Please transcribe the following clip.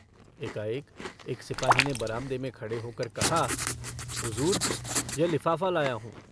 एकाएक एक सिपाही ने बरामदे में खड़े होकर कहा हुजूर यह लिफ़ाफ़ा लाया हूँ।